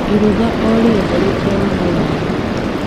Iruga o rĩothe rĩtiagaga waru,